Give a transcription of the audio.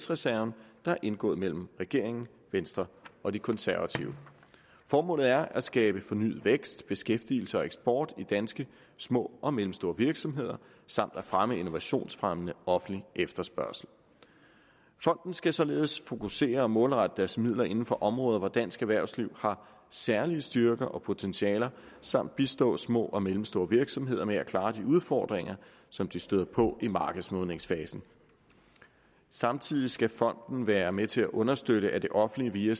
reserven der er indgået mellem regeringen venstre og de konservative formålet er at skabe fornyet vækst beskæftigelse og eksport i danske små og mellemstore virksomheder samt at fremme innovationsfremmende offentlig efterspørgsel fonden skal således fokusere og målrette dens midler inden for områder hvor dansk erhvervsliv har særlige styrker og potentialer samt bistå små og mellemstore virksomheder med at klare de udfordringer som de støder på i markedsmodningsfasen samtidig skal fonden være med til at understøtte at det offentlige via